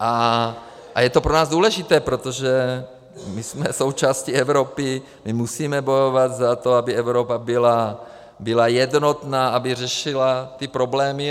A je to pro nás důležité, protože my jsme součástí Evropy, my musíme bojovat za to, aby Evropa byla jednotná, aby řešila ty problémy.